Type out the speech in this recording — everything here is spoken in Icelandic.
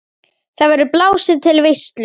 Þar verður blásið til veislu.